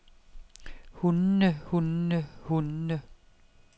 hundene hundene hundene